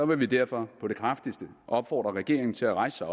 vil vi derfor på det kraftigste opfordre regeringen til at rejse sig